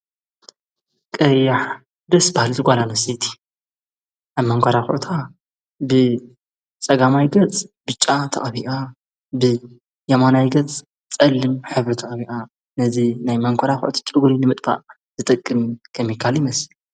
ቀያሕ ደስ ባህል ዝ ጓላንስቲ ኣብ መንቋራ ዂቕታ ብ ጸጋማይ ገጽ ብጫ ተቐብኣ ብ የማናይ ገጽ ጸልም ኅብሪ ተቐቢኣ ነዝ ናይ መንኻርኺዒ ጭጕሪ ንምጥባእ ዝጠቅን ከሚካል ይመስል።